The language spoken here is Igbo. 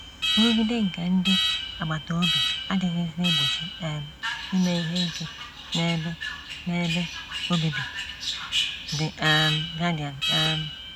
“ Nrụgide nke ndị agbata obi adịghịzi egbochi um ime ihe ike n’ebe n’ebe obibi. ” The um Guardian um.